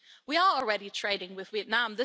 We are already trading with Vietnam.